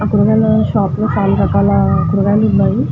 ఆ కూరగాయల షాప్ లో చాల రకాల కూరగాయలు ఉన్నాయి.